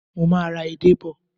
Mo máa ra ede bò.